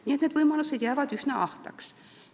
Nii et need võimalused jäävad üsna ahtaks.